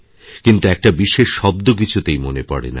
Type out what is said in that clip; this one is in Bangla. কিন্তু একটা বিশেষ শব্দ কিছুতেই মনে পড়ে না